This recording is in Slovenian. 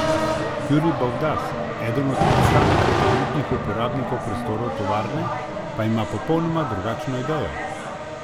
Jurij Bavdaz, eden od predstavnikov trenutnih uporabnikov prostorov tovarne pa ima popolnoma drugačno idejo.